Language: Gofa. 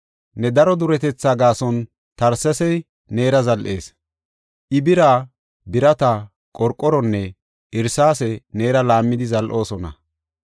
Ne daro duretetha gaason Tarsesi neera zal7is; I bira, birata, qorqoronne irsaase neera laammidi zal7oosona.